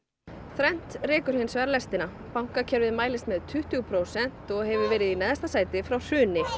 þrennt rekur hins vegar lestina bankakerfið mælist með tuttugu prósent og hefur verið í neðsta sæti frá hruni